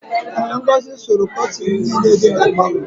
Ee, Ngọzị sụrụ kọtịnị niile dị na palọ.